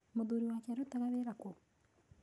Mũthuuri wake arutaga wĩra kũ?